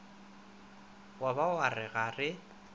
ba wa re ga re